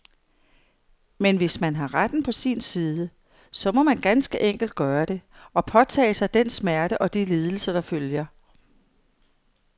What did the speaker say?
Men hvis man har retten på sin side, så må man ganske enkelt gøre det, og påtage sig den smerte og de lidelser, der følger.